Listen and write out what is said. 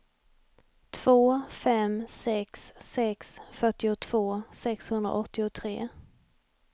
två fem sex sex fyrtiotvå sexhundraåttiotre